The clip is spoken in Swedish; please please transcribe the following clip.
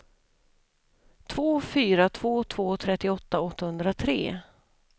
två fyra två två trettioåtta åttahundratre